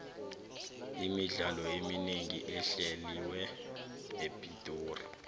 imidlalo eminengi ehleliwa epitori